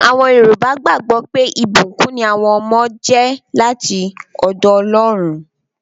Àwọn yọrùbá gbàgbọ́ pé, ìbùkún ní àwọn ọmọ jẹ́ láti ọ̀dọ̀ Ọlọ́run